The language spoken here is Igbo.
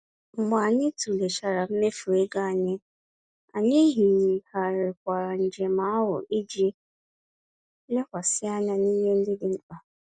Mgbe anyị tụlechara mmefu égo anyị, anyị yigharịrị njem ahụ iji lekwasị anya n'ihe ndị dị mkpa